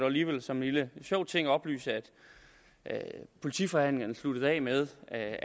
alligevel som en lille sjov ting oplyse at politiforhandlingerne sluttede af med at